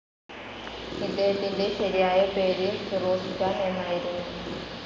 ഇദ്ദേഹത്തിൻ്റെ ശരിയായ പേര് ഫിറോസ്ഖാൻ എന്നായിരുന്നു.